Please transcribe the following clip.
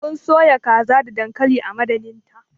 Mun soya kaza da dankali a madadinta.